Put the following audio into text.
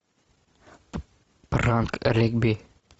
пранк регби